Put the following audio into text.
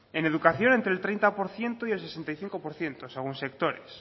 en educación entre el treinta por ciento y el sesenta y cinco por ciento según sectores